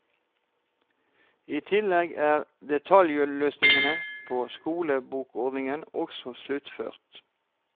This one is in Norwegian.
I tillegg er detaljløsningen på skolebokordningen også sluttført.